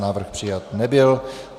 Návrh přijat nebyl.